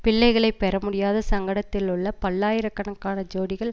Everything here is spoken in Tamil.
பிள்ளைகளை பெறமுடியாத சங்கடத்திலுள்ள பல்லாயிர கணக்கான ஜோடிகள்